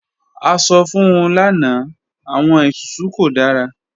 A sọ fun u lana, awọn isusu ko dara.